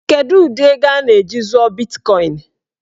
Kedụ ụdị ego a ga- eji zụọ bitkọin?